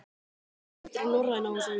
Ég var sendur í Norræna húsið.